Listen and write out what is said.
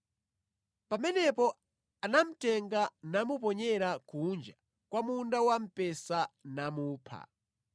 Pamenepo anamutenga namuponyera kunja kwa munda wamphesa namupha.